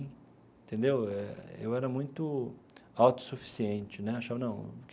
Entendeu eu era muito autossuficiente né achava não que.